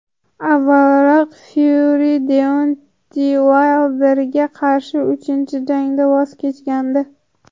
Avvalroq Fyuri Deontey Uaylderga qarshi uchinchi jangdan voz kechgandi .